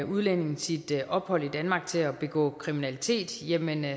udlænding sit ophold i danmark til at begå kriminalitet jamen